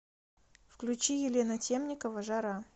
включи елена темникова жара